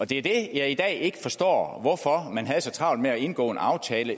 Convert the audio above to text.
det det jeg i dag ikke forstår er hvorfor i havde så travlt med at indgå en aftale